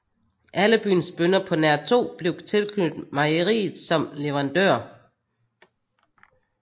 Alle byens bønder på nær to blev tilknyttet mejeriet som leverandører